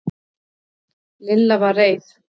Lilla var reið.